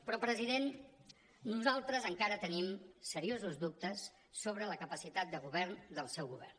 però president nosaltres encara tenim seriosos dubtes sobre la capacitat de govern del seu govern